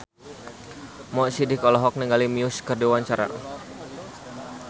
Mo Sidik olohok ningali Muse keur diwawancara